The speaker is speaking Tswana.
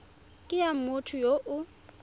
ke ya motho yo o